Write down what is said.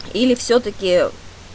или всё-таки